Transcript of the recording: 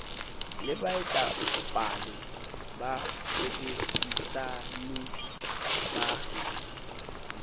le baetapale ba basebedisani ba